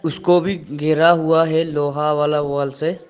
उसको भी घेरा हुआ है लोहा वाला वॉल से।